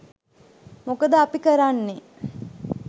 මොකද අපි කරන්නේ